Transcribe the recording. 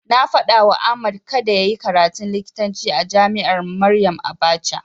Na faɗawa Ahmad kada yayi karatun likitanci a jami'ar Maryam Abacha.